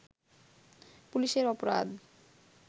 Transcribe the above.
পুলিশের অপরাধ